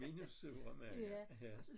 Minus sure mænd ja